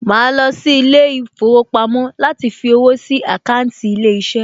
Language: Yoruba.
Màá lọ sí ilé ìfowópamọ́ láti fí owó sí àkáńtì ilé iṣẹ́